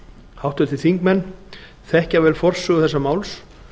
háttvirtir þingmenn þekkja vel forsögu þessa máls